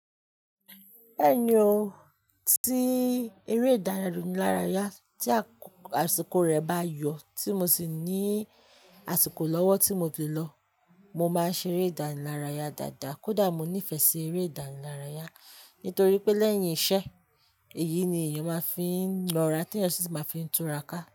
Ẹ̀yin o, tí eré ìdárayá tí àsìkò rẹ̀ bá yọ, tí mo sì ní àsìkò lọ́wọ́ tí mo lè lọ, mo máa ṣeré ìdárayá dáadáa. Kódà mo nífẹ̀ẹ́ sí eré ìdárayá, nítorí pé lẹ́yìn iṣẹ́, èyí ni èèyàn máa ń fi nọra, tí èèyàn sì máa ń fi túra ká.